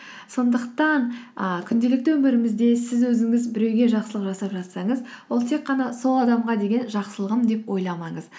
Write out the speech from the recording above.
сондықтан і күнделікті өмірімізде сіз өзіңіз біреуге жақсылық жасап жатсаңыз ол тек қана сол адамға деген жақсылығым деп ойламаңыз